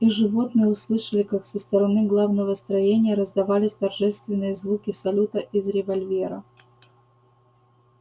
и животные услышали как со стороны главного строения раздавались торжественные звуки салюта из револьвера